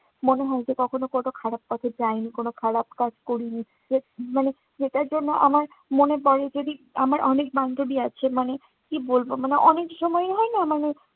মনে হয় যে, কখনো কোনো খারাপ পথে যায়নি, কোনো খারাপ কাজ করিনি। যে, মানে যেটার জন্য আমার মনে পড়ে যদি আমার অনেক বান্ধবী আছে মানে কি বলবো মানে অনেক সময় হয় না, মানে